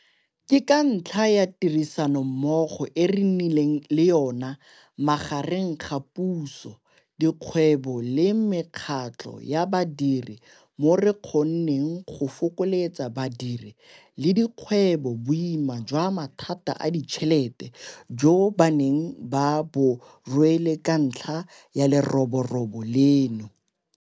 Ke ka ntlha ya tirisanommogo e re nnileng le yona magareng ga puso, dikgwebo le mekgatlho ya badiri mo re kgonneng go fokoletsa badiri le dikgwebo boima jwa mathata a ditšhelete jo ba neng ba bo rwele ka ntlha ya leroborobo leno.